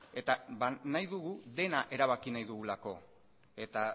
eta nahi dugu dena erabaki nahi dugulako eta